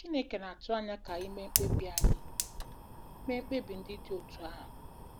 Chineke na-atụ anya ka anyị mee mkpebi anyị mee mkpebi ndị dị otú ahụ.